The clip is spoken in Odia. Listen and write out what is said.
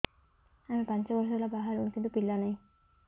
ଆମେ ପାଞ୍ଚ ବର୍ଷ ହେଲା ବାହା ହେଲୁଣି କିନ୍ତୁ ପିଲା ନାହିଁ